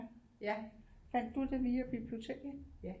Fandt du det via biblioteket